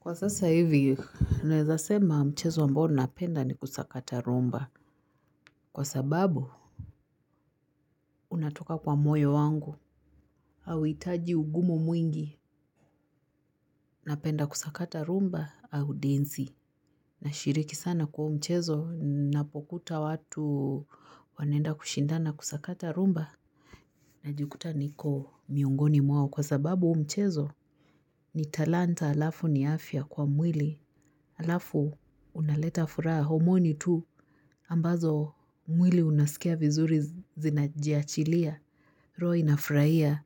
Kwa sasa hivi, naweza sema mchezo ambao napenda ni kusakata rumba. Kwa sababu, unatoka kwa moyo wangu. Hauitaji ugumu mwingi. Napenda kusakata rumba au densi. Nashiriki sana kwa huu mchezo, napokuta watu wanaenda kushindana kusakata rumba. Najikuta niko miongoni mwao kwa sababu huu mchezo. Ni talanta alafu ni afya kwa mwili. Alafu unaleta furaha ya homoni tu ambazo mwili unasikia vizuri zinajiachilia, roho inafraia,